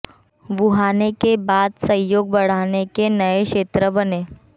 वुहाने के बाद सहयोग बढ़ाने के नए क्षेत्र बने